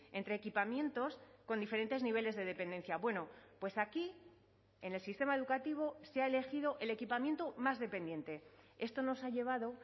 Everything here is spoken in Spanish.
entre equipamientos con diferentes niveles de dependencia bueno pues aquí en el sistema educativo se ha elegido el equipamiento más dependiente esto nos ha llevado